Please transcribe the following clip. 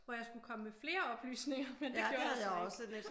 Hvor jeg skulle komme med flere oplysninger men det gjorde der så ikke